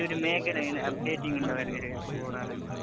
ഈ ഒരു മേഖലയില് അപ്ഡേറ്റിംഗ് ഉണ്ടാവും ഇടയ്ക്കിടയ്ക്ക്.